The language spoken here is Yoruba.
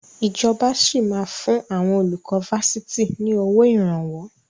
Ìjọba sì máa fun àwọn olùkọ́ Fásitì ni owó Ìrànwọ́